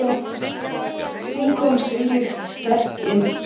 Hún kom þvílíkt sterk inn.